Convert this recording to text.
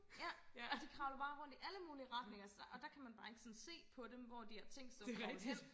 ja og de kravler bare rundt i alle mulige retninger så og der kan man bare ikke sådan se på dem hvor de har tænkt sig og kravle hen